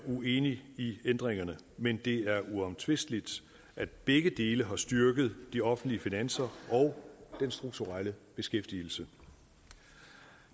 uenig i ændringerne men det er uomtvisteligt at begge dele har styrket de offentlige finanser og den strukturelle beskæftigelse